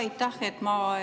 Aitäh!